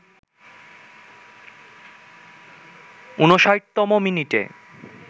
৫৯তম মিনিটে